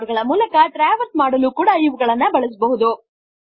record ಗಳ ಮೂಲಕ traverse ಮಾಡಲು ಕೂಡ ಇವುಗಳನ್ನು ಬಳಸಬಹುದು